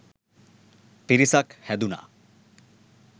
පිරිසක් හැදුණා.